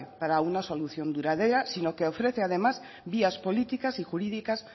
para una solución duradera sino que ofrece además vías políticas y jurídicas